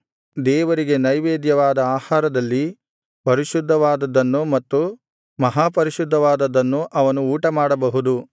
ದೇವರಿಗೆ ನೈವೇದ್ಯವಾದ ಆಹಾರದಲ್ಲಿ ಪರಿಶುದ್ಧವಾದದ್ದನ್ನು ಮತ್ತು ಮಹಾಪರಿಶುದ್ಧವಾದುದನ್ನು ಅವನು ಊಟಮಾಡಬಹುದು